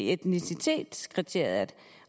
etnicitetskriteriet